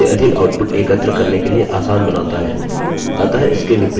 यह option इसे अधिक outputs एकत्र करने के लिए आसान बनाता है